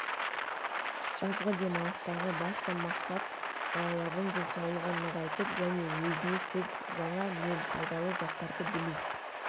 жазғы демалыстағы басты мақсат балалардың денсаулығын нығайтып және өзіне көп жаңа мен пайдалы заттарды білу